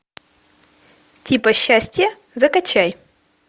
типа счастье закачай